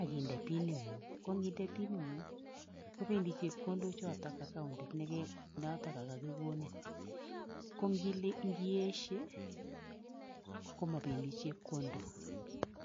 ak inde piningung ko ininde piningung kopendii chekondok choton accoundit noton kokokonin ko indieshe komopendii chepkondok.